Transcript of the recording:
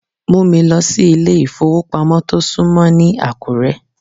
Mú mi lọ sí ilé ìfowópamọ́ tó súnmọ́ ní Àkúré.